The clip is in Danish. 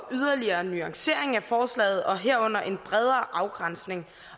yderligere nuancering af forslaget og herunder en bredere afgrænsning